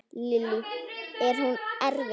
Lillý: Er hún erfið?